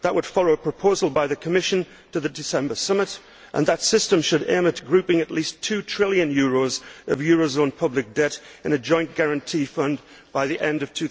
That would follow up a proposal by the Commission to the December summit, and that system should aim at grouping at least two trillion euros of eurozone public debt in a joint guarantee fund by the end of